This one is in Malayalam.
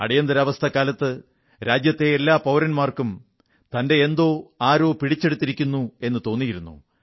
അടിയന്തരാവസ്ഥക്കാലത്ത് രാജ്യത്തെ എല്ലാ പൌരന്മാർക്കും തന്റെ എന്തോ ആരോ പിടിച്ചെടുത്തിരിക്കുന്നു എന്നു തോന്നിയിരുന്നു